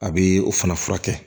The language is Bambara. A bɛ o fana furakɛ